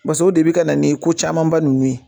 base de bi ka na ni kocamanba nunnu ye